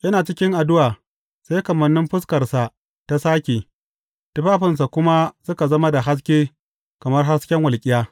Yana cikin addu’a, sai kamannin fuskarsa ta sāke, tufafinsa kuma suka zama da haske kamar hasken walƙiya.